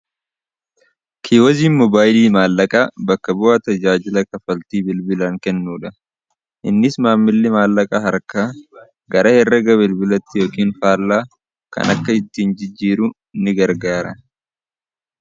Kiiwoziin mobaayilii maallaqaa bakka bu'aa tajaajila kafaltii bilbilaan kennuudha innis maammilli maallaqaa harka gara herraga bilbilatti yookiin faallaa kan akka ittiin jijjiiru ni gargaara.